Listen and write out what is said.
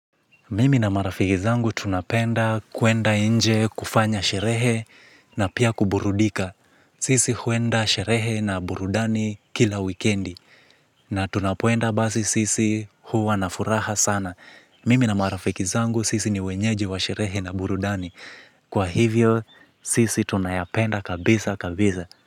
Mimi na marafiki zangu tunapenda kuenda nje kufanya sherehe na pia kuburudika. Sisi huenda sherehe na burudani kila wikendi. Na tunapoenda basi sisi huwa na furaha sana. Mimi na marafiki zangu sisi ni wenyeji wa sherehe na burudani. Kwa hivyo, sisi tunayapenda kabisa kabisa.